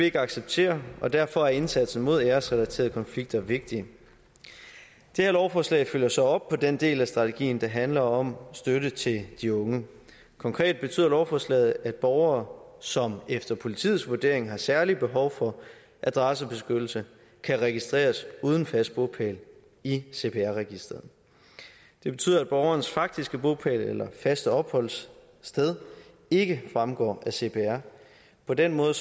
ikke acceptere og derfor er indsatsen mod æresrelaterede konflikter vigtig det her lovforslag følger så op på den del af strategien der handler om støtte til de unge konkret betyder lovforslaget at borgere som efter politiets vurdering har et særligt behov for adressebeskyttelse kan registreres uden fast bopæl i cpr registeret det betyder at borgerens faktiske bopæl eller faste opholdssted ikke fremgår af cpr på den måde